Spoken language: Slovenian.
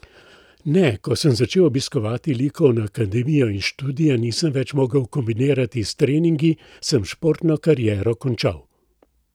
Ne, ko sem začel obiskovati likovno akademijo in študija nisem več mogel kombinirati s treningi, sem športno kariero končal.